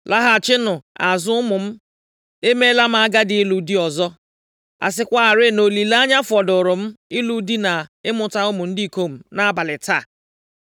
Laghachinụ azụ ụmụ m. Emeela m agadi ịlụ di ọzọ. A sịkwarị na olileanya fọdụụrụ m ịlụ di na ịmụta ụmụ ndị ikom nʼabalị taa,